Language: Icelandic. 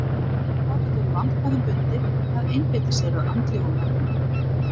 Þá gat verið vandkvæðum bundið að einbeita sér að andlegum efnum.